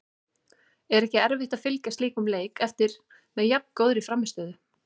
Er ekki erfitt að fylgja slíkum leik eftir með jafn góðri frammistöðu?